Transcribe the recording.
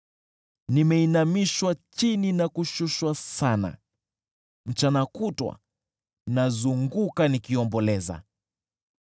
Nimeinamishwa chini na kushushwa sana, mchana kutwa nazunguka nikiomboleza.